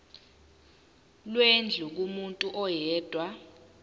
lwendlu kumuntu oyedwa